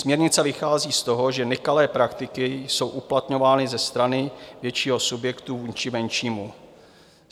Směrnice vychází z toho, že nekalé praktiky jsou uplatňovány ze strany většího subjektu vůči menšímu.